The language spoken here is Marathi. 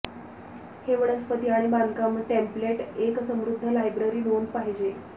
हे वनस्पती आणि बांधकाम टेम्पलेट एक समृद्ध लायब्ररी नोंद पाहिजे